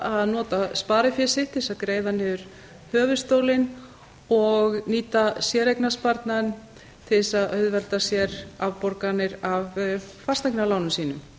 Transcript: að nota sparifé sitt til þess að greiða niður höfuðstólinn og nýta séreignarsparnaðinn til þess að auðvelda sér afborganir af fasteignalánum sínum